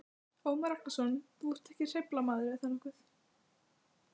Ómar Ragnarsson: Þú ert ekkert hreyfihamlaður, er það?